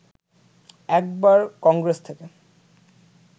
একবার কংগ্রেস থেকে